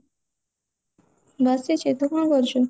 ବସିଛି ତୁ କଣ କରୁଛୁ